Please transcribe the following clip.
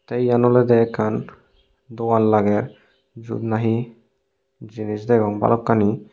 tey yen olodey ekkan dogan lager jiyot nahi jinis degong balokkani.